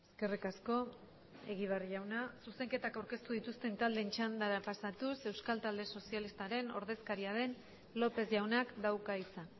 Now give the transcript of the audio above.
eskerrik asko egibar jauna zuzenketak aurkeztu dituzten taldeen txandara pasatuz euskal talde sozialistaren ordezkaria den lópez jaunak dauka hitza